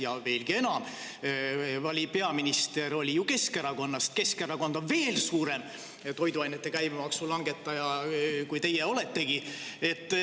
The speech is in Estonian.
Ja veelgi enam, peaminister oli Keskerakonnast, Keskerakond on veel suurem toiduainete käibemaksu langetaja, kui teie oletegi.